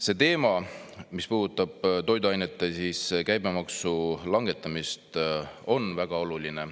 See teema, mis puudutab toiduainete käibemaksu langetamist, on väga oluline.